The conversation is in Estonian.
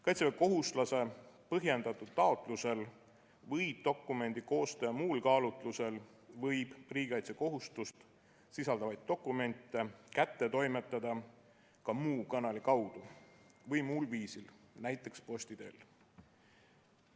Kaitseväekohuslase põhjendatud taotlusel või dokumendi koostaja muul kaalutlusel võib riigikaitsekohustust sisaldavaid dokumente kätte toimetada ka muu kanali kaudu või muul viisil, näiteks posti teel.